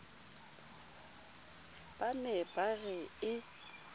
ba ne ba re e